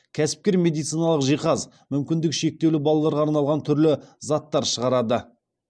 кәсіпкер медициналық жиһаз мүмкіндігі шектеулі балаларға арналған түрлі заттар шығарады